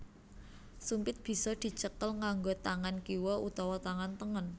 Sumpit bisa dicekel nganggo tangan kiwa utawa tangan tengen